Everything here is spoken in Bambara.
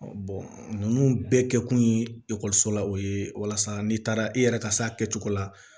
ninnu bɛɛ kɛkun ye ekɔliso la o ye walasa n'i taara i yɛrɛ ka se a kɛcogo la